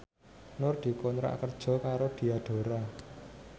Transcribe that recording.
Nur dikontrak kerja karo Diadora